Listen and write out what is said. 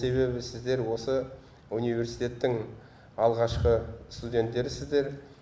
себебі сіздер осы университеттің алғашқы студенттерсіздер